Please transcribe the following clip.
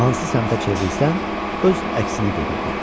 Hansı səmtə çevrilsən, öz əksini görürdün.